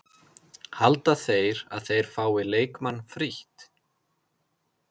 Halda þeir að þeir fái leikmann frítt?